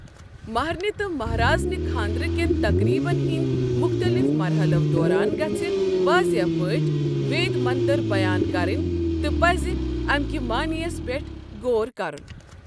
مہرِنہِ تہٕ مہرازنہِ خانٛدٕرکٮ۪ن تقریٖبَن ہٕنٛدۍ مُختلِف مرحلَو دوران گژھہِ واضح پٲٹھۍ وید منتَر بیان کرٕنۍ تہٕ پزِ امکہِ معانیَس پیٹھ غور کرُن۔